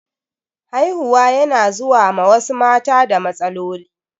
Haihuwa yana zuwa ma wasu mata da matsaloli.